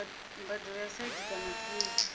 mbadelo ya site kana paye